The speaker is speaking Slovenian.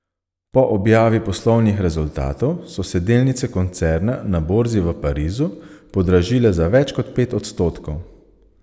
Po objavi poslovnih rezultatov so se delnice koncerna na borzi v Parizu podražile za več kot pet odstotkov.